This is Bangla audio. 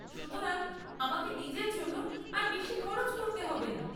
সুতরাং, আমাকে নিজের জন্য আর বেশী খরচ করতে হবে না।